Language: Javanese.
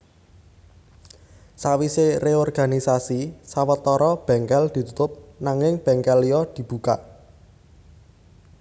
Sawisé reorganisasi sawetara bèngkèl ditutup nanging bèngkèl liya dibuka